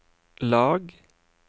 lag